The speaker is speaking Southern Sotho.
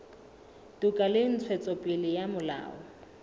toka le ntshetsopele ya molao